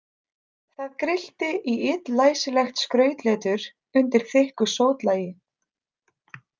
Það grillti í illlæsilegt skrautletur undir þykku sótlagi.